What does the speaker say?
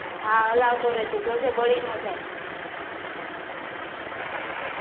હા હલાવ્તો રહે જોજે બળી નો જાય